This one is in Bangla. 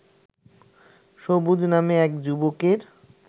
সবুজ নামে এক যুবকের